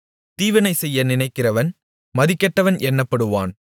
தீவினைசெய்ய நினைக்கிறவன் மதிகெட்டவன் என்னப்படுவான்